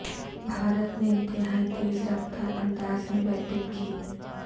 بھارت نے انتہائی تیز رفتار انداز میں بیٹنگ کی